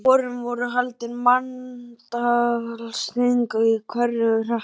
Á vorin voru haldin manntalsþing í hverjum hreppi.